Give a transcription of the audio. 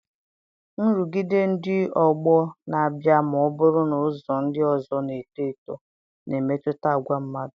Nrụgide ndị ọgbọ na-abịa ma ọ bụrụ na ụzọ ndị ọzọ na-eto eto na-emetụta àgwà mmadụ.